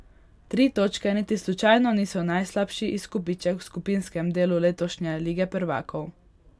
Tri točke niti slučajno niso najslabši izkupiček v skupinskem delu letošnje Lige prvakov.